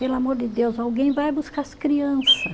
Pelo amor de Deus, alguém vai buscar as criança.